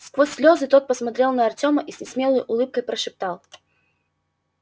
сквозь слёзы тот посмотрел на артёма и с несмелой улыбкой прошептал